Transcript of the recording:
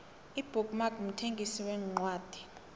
ibook mark mthengisi wencwadi